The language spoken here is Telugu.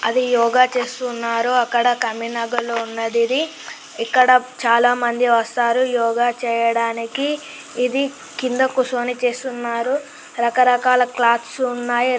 అది యోగ చేస్తు ఉన్నారు. అక్కడ ఉన్నది ఇది. ఇక్కడ చాలా మంది వస్తారు యోగా చేయడానికి. ఇది కింద కూసొని చేస్తున్నారు. రక రకాల క్లాత్స్ ఉన్నాయి.